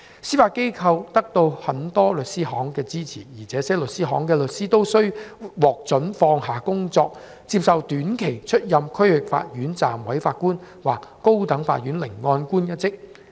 司法機構得到很多律師行的支持，這些律師行的律師都獲准放下工作，接受短期出任區域法院暫委法官或高等法院聆案官一職。